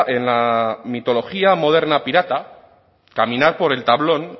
en la mitología moderna pirata caminar por el tablón